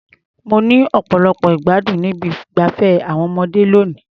Mo ní ọ̀pọ̀lọpọ̀ ìgbádùn ní ibi ìgbafé àwọn ọmọdé lónìí.